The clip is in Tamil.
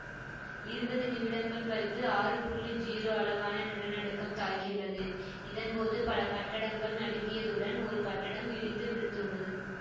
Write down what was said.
இருவது நிமிடங்கள் கழித்து ஆறு புள்ளி ஜீரோ அளவான நிலநடுக்கம் தாக்கியுள்ளது இதன் போது பல கட்டடங்கள் நடுங்கியதுடன் ஒரு கட்டடம் இடிந்து விழுந்துள்ளது